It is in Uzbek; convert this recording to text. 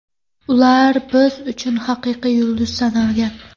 Ular biz uchun haqiqiy yulduz sanalgan.